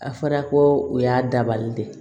A fɔra ko o y'a dabali de ye